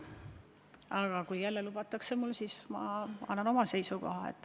Aga kui lubatakse, siis ütlen jälle oma seisukoha.